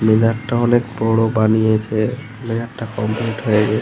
মিনারটা অনেক বড় বানিয়েছে। মিনারটা কমপ্লিট হয়ে --